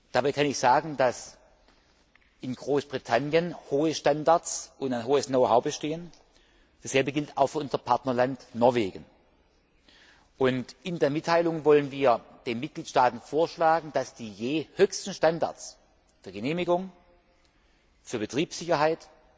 Dabei kann ich sagen, dass in Großbritannien hohe Standards und ein hohes bestehen. Dasselbe gilt auch für unser Partnerland Norwegen. In der Mitteilung wollen wir den Mitgliedstaaten vorschlagen, dass die jeweils höchsten Standards für Genehmigung, für Betriebssicherheit,